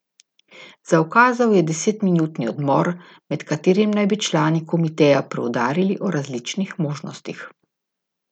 Zaukazal je desetminutni odmor, med katerim naj bi člani komiteja preudarili o različnih možnostih.